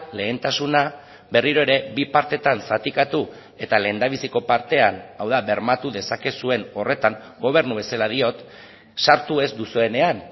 lehentasuna berriro ere bi partetan zatikatu eta lehendabiziko partean hau da bermatu dezakezuen horretan gobernu bezala diot sartu ez duzuenean